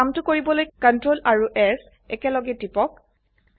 এই কামটো কৰিবলৈ Ctrl s একেলগে টিপক